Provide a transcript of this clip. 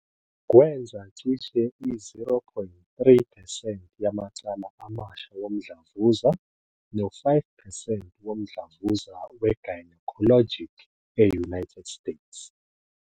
Kwenza cishe i-0.3 percent yamacala amasha womdlavuza, no-5 percent womdlavuza we-gynecologic e-United States.